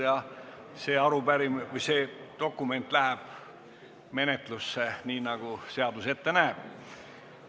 Olen ühe dokumendi vastu võtnud ja see läheb menetlusse, nii nagu seadus ette näeb.